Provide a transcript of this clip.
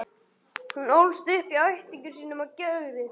Hún ólst upp hjá ættingjum sínum á Gjögri.